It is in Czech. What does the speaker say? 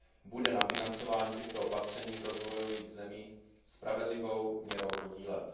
bude na financování těchto opatření v rozvojových zemích spravedlivou měrou podílet.